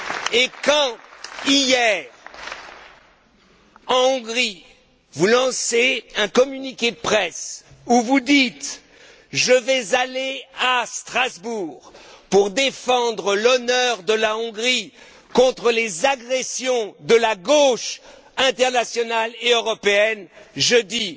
Et quand hier, en Hongrie, vous lancez un communiqué de presse où vous dites Je vais aller à Strasbourg pour défendre l'honneur de la Hongrie contre les agressions de la gauche internationale et européenne, moi, je